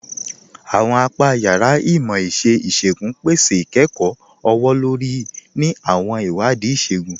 Àwọn apà yàrá Imọ̀-iṣẹ̀ Ìṣògún pẹ̀sẹ̀ ikẹ́kọ ọwọ̀-lórí ni àwọn iwadii ìṣògún